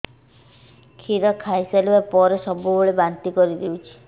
କ୍ଷୀର ଖାଇସାରିଲା ପରେ ସବୁବେଳେ ବାନ୍ତି କରିଦେଉଛି